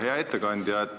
Hea ettekandja!